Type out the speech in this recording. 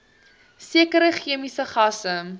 sekere chemiese gasse